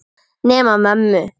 Nema mömmu.